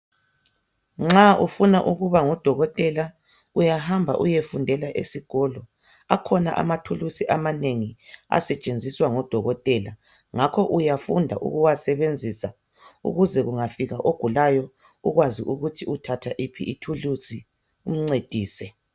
Nxa ufuna ukuba ngudokotela uyahamba uyefundela esikolo. Akhona amathulusi amanengi asetshenziswa ngodokotela ngakho uyafunda ukuwasebenzisa ukuze kungafika ogulayo ukwazi ukuthi uthatha yiphi ithulusi umncedise.